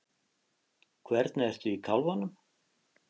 Hvernig ertu í kálfanum?